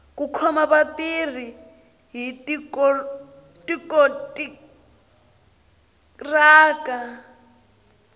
ku khoma vatirhi hi tikontiraka